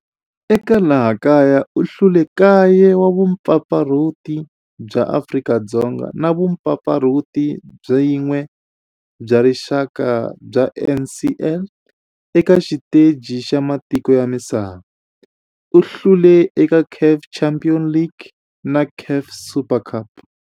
Eka laha kaya u hlule 9 wa vumpfampfarhuti bya Afrika-Dzonga na vumpfampfarhuti byin'we bya rixaka bya NSL. Eka xiteji xa matiko ya misava, u hlule eka CAF Champions League na CAF Super Cup.